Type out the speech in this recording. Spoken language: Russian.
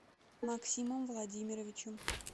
максимом владимировичем